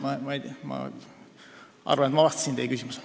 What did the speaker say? Ma arvan, et ma vastasin teie küsimusele.